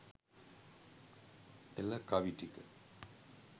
එල කවි ටික